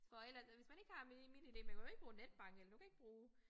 For ellers altså hvis man ikke har MitID man kan ikke bruge netbank eller du kan ikke bruge